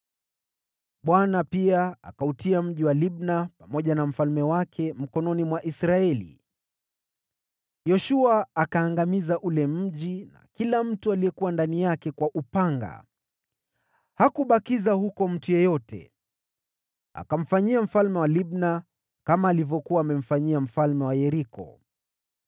Bwana pia akautia huo mji wa Libna pamoja na mfalme wake mikononi mwa Israeli. Yoshua akaangamiza ule mji na kila mtu aliyekuwa ndani yake kwa upanga. Hakubakiza huko mtu yeyote. Akamfanyia mfalme wa Libna kama alivyokuwa amemfanyia mfalme wa Yeriko.